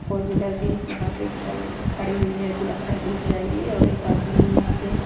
four wheeler भी यहां पे चल खड़ी हुई है जो लगता है डूब जाएगी और एक आदमी यहां पे--